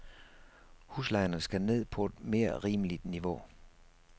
Huslejerne skal ned på et mere rimeligt niveau.